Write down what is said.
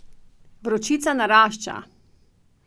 Vročica narašča.